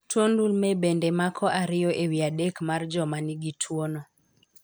Tuo ndulwe bende mako ariyo ewi adek mar joma ni gi tuo no.